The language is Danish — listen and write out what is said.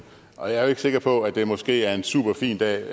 og jeg er ikke sikker på at det måske er en super fin dag